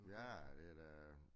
Ja det da